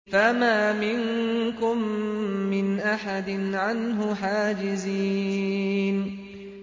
فَمَا مِنكُم مِّنْ أَحَدٍ عَنْهُ حَاجِزِينَ